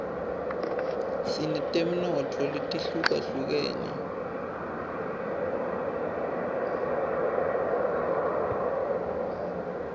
sinetemnotfo letihlukahlukenus